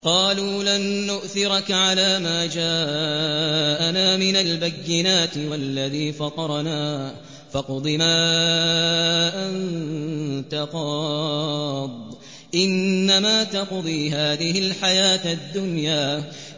قَالُوا لَن نُّؤْثِرَكَ عَلَىٰ مَا جَاءَنَا مِنَ الْبَيِّنَاتِ وَالَّذِي فَطَرَنَا ۖ فَاقْضِ مَا أَنتَ قَاضٍ ۖ إِنَّمَا تَقْضِي هَٰذِهِ الْحَيَاةَ الدُّنْيَا